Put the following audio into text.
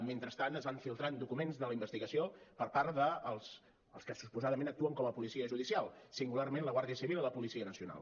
mentrestant es van filtrant documents de la investigació per part dels que suposadament actuen com a policia judicial singularment la guàrdia civil i la policia nacional